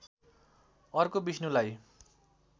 अर्को विष्णुलाई